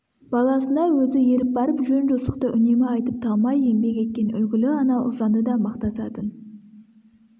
баласына өзі еріп барып жөн-жосықты үнемі айтып талмай еңбек еткен үлгілі ана ұлжанды да мақтасатын